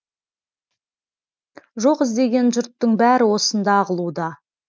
жоқ іздеген жұрттың бәрі осында ағылуда